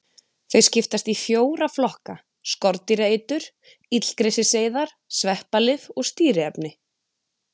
Þau skiptast í fjóra flokka: Skordýraeitur, illgresiseyðar, sveppalyf og stýriefni.